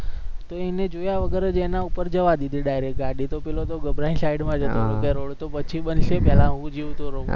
તો એને જોયા વગર ગાડી જવા દીધી direct ગાડી તો પેલો તો ઘબરાઈને side મા જતો રહ્યો રોડ તો પછી બનશે પહેલા હુ જીવતો રહુ.